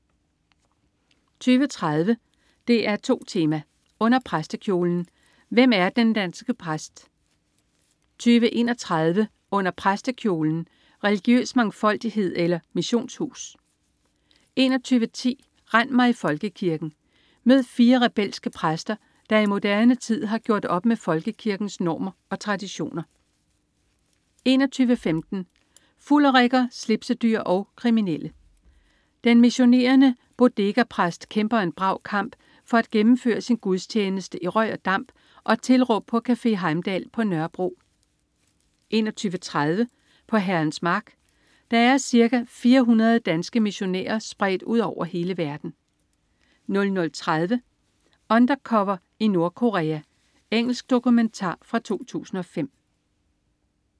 20.30 DR2 Tema: Under præstekjolen. Hvem er den danske præst? 20.31 Under præstekjolen. Religiøs mangfoldighed eller missionshus? 21.10 Rend mig i Folkekirken! Mød fire rebelske præster, der i moderne tid har gjort op med Folkekirkens normer og traditioner 21.15 Fulderikker, slipsedyr og kriminelle. Den missionerende bodegapræst kæmper en brav kamp for at gennemføre sin gudstjeneste i røg og damp og tilråb på Café Heimdal på Nørrebro 21.30 På Herrens mark. Der er ca. 400 danske missionærer spredt ud over hele verden 00.30 Undercover i Nordkorea. Engelsk dokumentar fra 2005